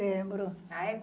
Lembro. A é?